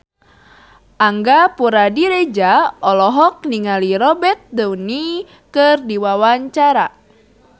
Angga Puradiredja olohok ningali Robert Downey keur diwawancara